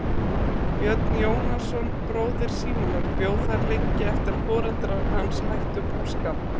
Björn Jónasson bróðir Símonar bjó þar lengi eftir að foreldrar hans hættu búskap.